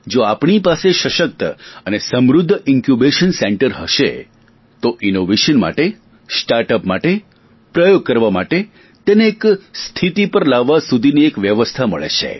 જો આપણી પાસે સશક્ત અને સમૃધ્ધ ઇન્કયૂબેશન સેન્ટર હશે તો ઇનોવેશન માટે સ્ટાર્ટઅપ માટે પ્રયોગ કરવા માટે તેને એક સ્થિતિ પર લાવવા સુધી એક વ્યવસ્થા મળે છે